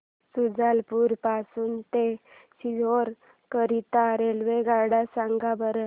शुजालपुर पासून ते सीहोर करीता रेल्वेगाड्या सांगा बरं